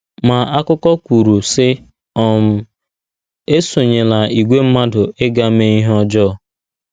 Ma, akụkọ kwuru, sị: um “ Esonyela ìgwè mmadụ ịga mee ihe ọjọọ. ”